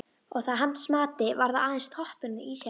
Og að hans mati var það aðeins toppurinn á ísjakanum.